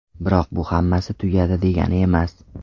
Biroq bu hammasi tugadi, degani emas.